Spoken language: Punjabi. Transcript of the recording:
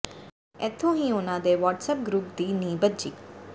ਇੱਥੋਂ ਹੀ ਉਨ੍ਹਾਂ ਦੇ ਵ੍ਹਟਸਐਪ ਗਰੁੱਪ ਦੀ ਨੀਂਹ ਬੱਝੀ